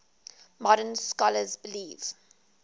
modern scholars believe